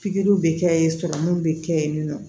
Pikiriw bɛ kɛ yen sɔrɔ minnu bɛ kɛ yen nɔ